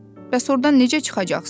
Bəs ordan necə çıxacaqsız?